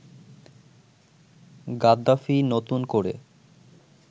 "Gaddafi নতুন করে